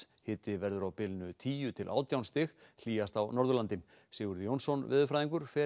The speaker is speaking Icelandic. hiti verður á bilinu tíu til átján stig hlýjast á Norðurlandi Sigurður Jónsson veðurfræðingur fer